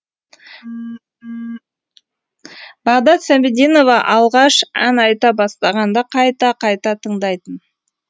бағдат сәмединова алғаш ән айта бастағанда қайта қайта тыңдайтын